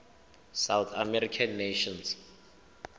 south american nations